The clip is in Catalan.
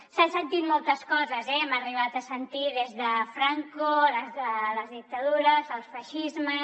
s’han sentit moltes coses eh hem arribat a sentir des de franco les dictadures els feixismes